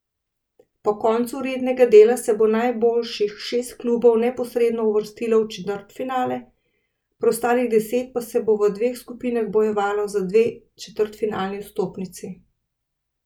Po koncu rednega dela se bo najboljših šest klubov neposredno uvrstilo v četrtfinale, preostalih deset pa se bo v dveh skupinah bojevalo za dve četrtfinalni vstopnici.